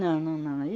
Não, não, não. Aí